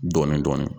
Dɔɔnin-dɔɔnin